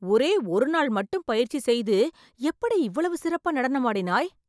ஒரே ஒரு நாள் மட்டும் பயிற்சி செய்து எப்படி இவ்வளவு சிறப்பா நடனம் ஆடினாய்